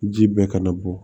Ji bɛɛ kana bɔ